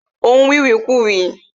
O n wiwikuai